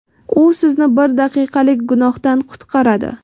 u sizni bir daqiqalik gunohdan qutqaradi.